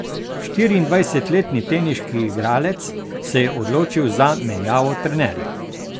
Štiriindvajsetletni teniški igralec se je odločil za menjavo trenerja.